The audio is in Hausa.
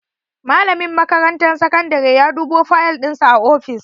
Malamin makarantar sakandare ya dubo fayal dinsa a ofis.